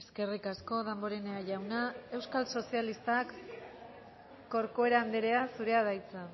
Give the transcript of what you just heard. eskerrik asko damborenea jauna euskal sozialistak corcuera anderea zurea da hitza